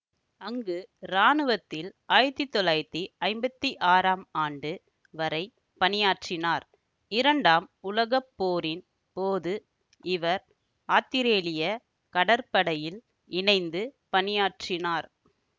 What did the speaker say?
அங்கு இராணுவத்தில் ஆயிரத்தி தொள்ளாயிரத்தி ஐம்பத்தி ஆறாம் ஆண்டு வரை பணியாற்றினார் இரண்டாம் உலக போரின் போது இவர் ஆத்திரேலிய கடற்படையில் இணைந்து பணியாற்றினார்